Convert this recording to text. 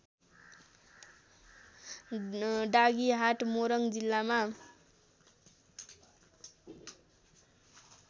डाँगीहाट मोरङ जिल्लामा